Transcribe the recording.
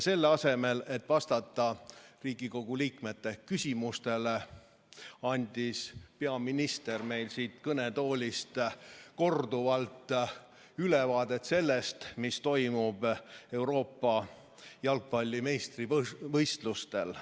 Selle asemel et vastata Riigikogu liikmete küsimustele, andis peaminister meile siit kõnetoolist korduvalt ülevaate sellest, mis toimub Euroopa jalgpalli meistrivõistlustel.